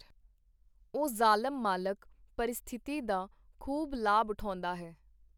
ਉਹ ਜ਼ਾਲਮ ਮਾਲਕ ਪਰਿਸਥਿਤੀ ਦਾ ਖੂਬ ਲਾਭ ਉਠਾਉਂਦਾ ਹੈ.